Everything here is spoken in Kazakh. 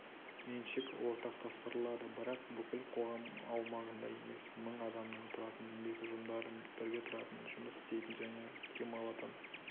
меншік ортақтастырылады бірақ бүкіл қоғам аумағында емес мың адамнан тұратын еңбек ұжымдары бірге тұратын жұмыс істейтін және демалатын